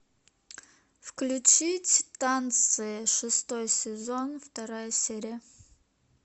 включить танцы шестой сезон вторая серия